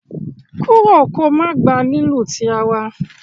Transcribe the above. kúrò kò má gbà lílu tí àrà!